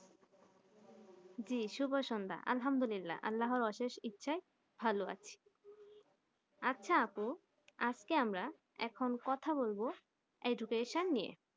যি শুভ সন্ধ্যা আলহামদুল্লা আল্লা অশেষ ইচ্ছাই ভালো আছি আচ্ছা আপু আজকে আমরা এখন কথা বলবো education নিয়ে